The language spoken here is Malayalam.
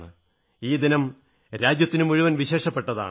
ഈ ദിനം രാജ്യത്തിനു മുഴുവൻ വിശേഷപ്പെട്ടതാണ്